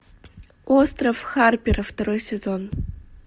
остров харпера второй сезон